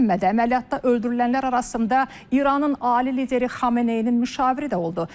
Əməliyyatda öldürülənlər arasında İranın ali lideri Xameneinin müşaviri də oldu.